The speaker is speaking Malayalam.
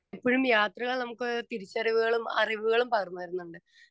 സ്പീക്കർ 2 എപ്പഴും യാത്രകള് നമ്മക്ക് തിരിച്ചറിവുകളും അറിവുകളും പകർന്നു തരുന്നുണ്ട്.